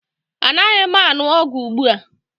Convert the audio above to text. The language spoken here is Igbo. Anaghị m aṅụ ọgwụ ugbu a